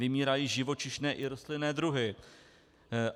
Vymírají živočišné i rostlinné druhy.